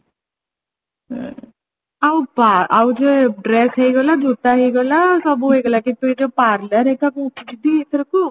ହୁଁ ଆଉ ଯୋଉ dress ହେଇଗଲା ଜୋତା ହେଇଗଲା ସବୁ ହେଇଗଲା କିନ୍ତୁ ଏ ଯୋଉ parlour ହେରିକା କୋଉଠି ଯିବି ଅଥରକ